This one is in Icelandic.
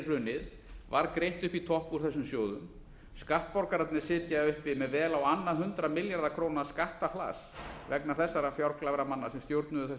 hrunið var greitt upp í topp úr þessum sjóðum skattborgararnir sitja uppi með vel á annað hundrað milljarða króna skattahlass vegna þessara fjárglæframanna sem stjórnuðu